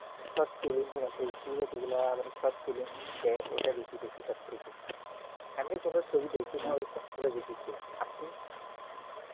shortflim facebook এ যেগুলা shortflim দেয় ওটা বেশি দেখি সবথেকে এমনি কোন ছবি দেখি না ওই সবগুলার দেখি খুব আপনি